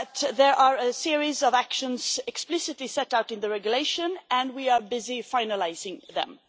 There are a series of actions explicitly set out in the regulation, and we are busy finalising them.